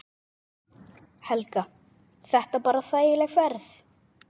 Helga: Þetta bara þægileg ferð?